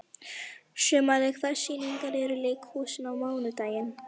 Sumarliði, hvaða sýningar eru í leikhúsinu á mánudaginn?